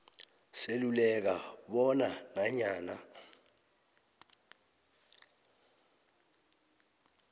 seluleka bona nanyana